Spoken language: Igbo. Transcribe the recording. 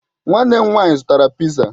Nwanne m nwanyị zụtara piza.